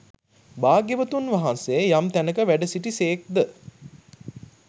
භාග්‍යවතුන් වහන්සේ යම් තැනක වැඩසිටි සේක් ද